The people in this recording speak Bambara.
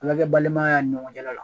Ana kɛ balimaya y' an ni ɲɔgɔn cɛ la la.